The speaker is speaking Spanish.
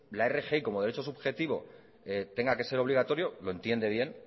la rgi como derecho subjetivo tenga que ser obligatorio lo entiende bien